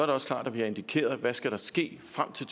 det også klart at vi har indikeret hvad der skal ske frem til